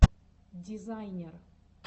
дизайнер